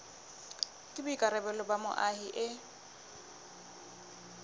ke boikarabelo ba moahi e